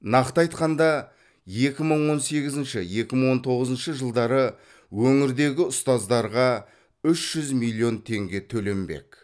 нақты айтқанда екі мың он сегізінші екі мың он тоғызыншы жылдары өңірдегі ұстаздарға үш жүз миллион теңге төленбек